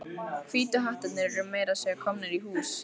Hvítu hattarnir eru meira að segja komnir í hús.